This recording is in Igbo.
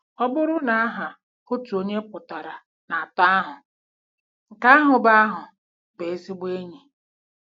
Ọ bụrụ na aha otu onye pụtara na atọ ahụ, nke ahụ bụ ahụ bụ ezigbo enyi!